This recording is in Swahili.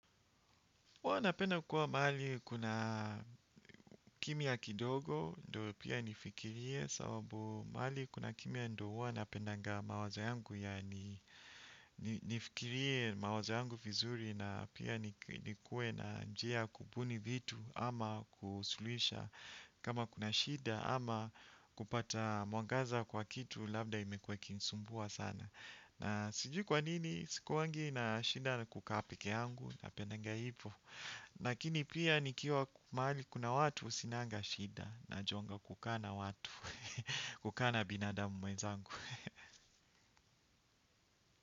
Huwa napenda kuwa mahali kuna kimya kidogo, ndo pia nifikirie, sababu mahali kuna kimya ndo huwa napendaga mawazo yangu ya nifikirie mawazo yangu vizuri na pia nikuwe na njia ya kubuni vitu ama kusuluhisha kama kuna shida ama kupata mwangaza kwa kitu, labda imekuwa ikinisumbua sana. Na sijui kwa nini sikuwagi na shida na kukaa pekeyangu napendaga ivo. Lakini pia nikiwa mahali kuna watu sinaga shida na juaga kukaa na watu, kukaa na binadamu mwezangu.